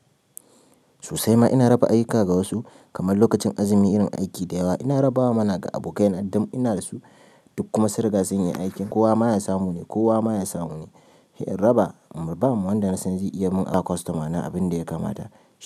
Sosai ma, ina raba ayyuka ga wasu, kamar lokacin azumi irin aiki da yawa, ina rabawa mana ga abokaina dam ina da su. Duk kuma sun riga sun iya aikin kowa ma ya samu ne--kowa ma ya samu ne. Raba in babbama wanda na san zai iya mun ba customer na abunda ya kamata.